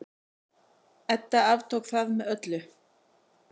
Edda aftók það með öllu.